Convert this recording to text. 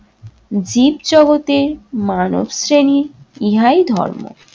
জীবজগতে মানবশ্রেণীর ইহাই ধর্ম।